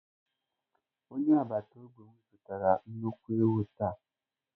Onye agbata obi m zụtara nnukwu ewu taa.